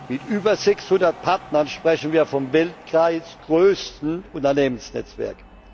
Mit über 600 Partnern sprechen wir vom weltweit größten Unternehmensnetzwerk.